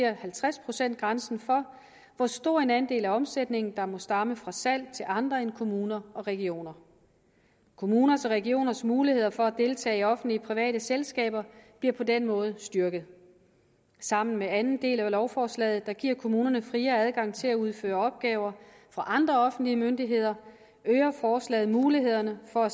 halvtreds procent grænsen for hvor stor en andel af omsætningen der må stamme fra salg til andre end kommuner og regioner kommuners og regioners muligheder for at deltage i de offentlig private selskaber bliver på den måde styrket sammen med anden del af lovforslaget om at give kommunerne friere adgang til at udføre opgaver for andre offentlige myndigheder øger forslaget mulighederne for at